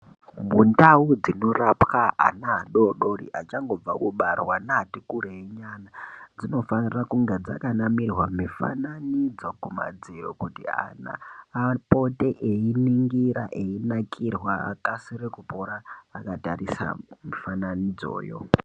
Mundau dzinorapwa ana adodori achangobva kubarwa neati kureinyana dzinofanira kunge dzakanamirwa mufananidzo kumadziro kuti ana apote einingira eyinakirwa kuti akasire kupora akatarise mifananidzoyo.